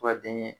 Ka denkɛ